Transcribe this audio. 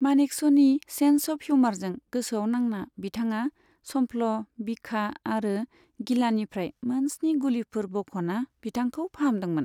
मानेकश'नि sense of हिइउमारजों गोसोआव नांना बिथांआ सम्फ्ल, बिखा आरो गिलानिफ्राय मोनस्नि गुलिफोर बख'ना बिथांखौ फाहामदोंमोन।